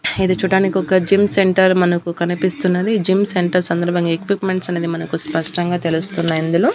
ఇది చూడ్డానికి ఒక జిమ్ సెంటర్ మనకు కనిపిస్తున్నది జిమ్ సెంటర్ సందర్భంగా ఎక్విప్మెంట్స్ అనేది మనకు స్పష్టంగా తెలుస్తున్నాయి ఇందులో.